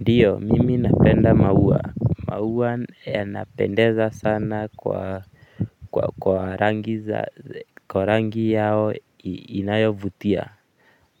Ndio, mimi napenda maua, maua yanapendeza sana kwa kwa rangi yao inayovutia